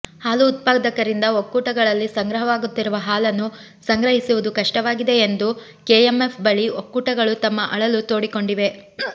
ಹಾಲು ಉತ್ಪಾದಕರಿಂದ ಒಕ್ಕೂಟಗಳಲ್ಲಿ ಸಂಗ್ರಹವಾಗುತ್ತಿರುವ ಹಾಲನ್ನು ಸಂಗ್ರಹಿಸುವುದು ಕಷ್ಟವಾಗಿದೆ ಎಂದು ಕೆಎಂಎಫ್ ಬಳಿ ಒಕ್ಕೂಟಗಳು ತಮ್ಮ ಅಳಲು ತೋಡಿಕೊಂಡಿವೆ